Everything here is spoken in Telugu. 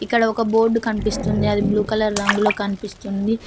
ఇక్కడ ఒక బోర్డు కనిపిస్తుంది అది బ్లూ కలర్ రంగులొ కనిపిస్తుంది.